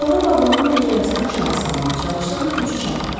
Sonra vaqonun pəncərəsini aşağı salmağa çalışsa da gücü çatmadı.